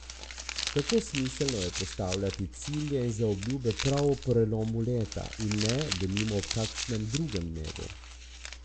Kako smiselno je postavljati cilje in zaobljube prav ob prelomu leta, in ne, denimo, ob kakšnem drugem dnevu?